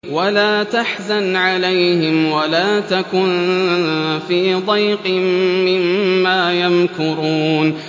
وَلَا تَحْزَنْ عَلَيْهِمْ وَلَا تَكُن فِي ضَيْقٍ مِّمَّا يَمْكُرُونَ